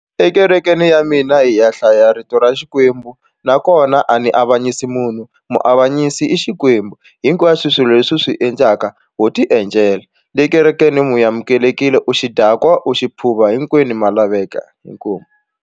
Ekerekeni ya mina hi ya hlaya rito ra Xikwembu nakona a ni avanyisi munhu muavanyisa i Xikwembu hinkwaswo swilo leswi swi endlaka wo ti endlela le kerekeni mu amukelekile u xidakwa u xi phuva hinkwenu ma laveka inkomu.